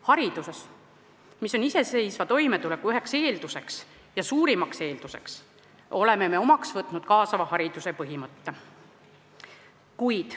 Hariduses, mis on iseseisva toimetuleku üks suurimaid eeldusi, oleme me omaks võtnud kaasava hariduse põhimõtte.